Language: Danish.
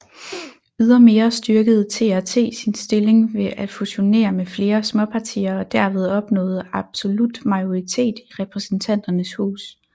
Ydermere styrkede TRT sin stilling ved at fusionere med flere småpartier og derved opnået absolut majoritet i Repræsentanternes Hus